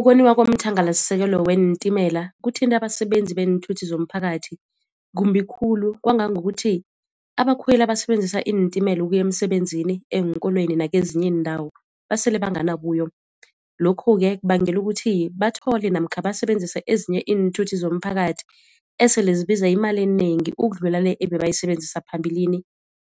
Ukoniwa komthangalasisekelo weentimela kuthinte abasebenzi beenthuthi zomphakathi kumbi khulu kwangangokuthi abakhweli abasebenzisa iintimela ukuya emsebenzini, eenkolweni nakezinye iindawo basele bangana buyo. Lokhu-ke kubangela ukuthi bathole namkha basebenzise ezinye iinthuthi zomphakathi esele zibiza imali enengi ukudlula le ebebayisebenzisa phambilini